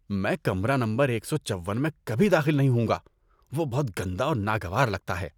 میں کمرہ نمبر ایک سو چون میں کبھی داخل نہیں ہوں گا، وہ بہت گندا اور ناگوار لگتا ہے۔